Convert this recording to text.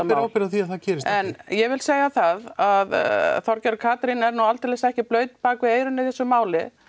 ber ábyrgð á að það gerist ekki en ég vil segja það að Þorgerður Katrín er nú aldeilis ekki blaut bak við eyrun í þessu máli